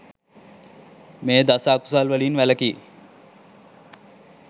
මේ දස අකුසල් වලින් වැළැකී